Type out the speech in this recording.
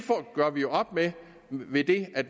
gør vi jo op med ved det at